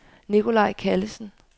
Nikolaj Callesen